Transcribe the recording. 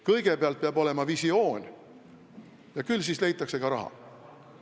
Kõigepealt peab olema visioon, ja küll siis leitakse ka raha.